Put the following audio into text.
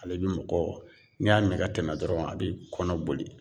Ale bi mɔgɔ, n'i y'a mi ka tɛmɛ dɔrɔn a b'i kɔnɔ boli.